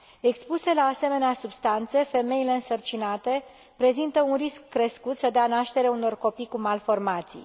Expuse la asemenea substanțe, femeile însărcinate prezintă un risc crescut să dea naștere unor copii cu malformații.